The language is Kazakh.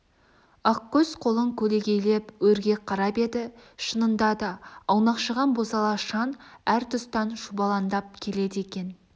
ақкөз қолын көлегейлеп өрге қарап еді шынында да аунақшыған бозала шаң әр тұстан шұбалаңдап келеді екен